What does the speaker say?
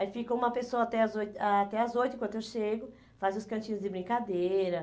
Aí fica uma pessoa até às oito, até às oito enquanto eu chego, faz os cantinhos de brincadeira.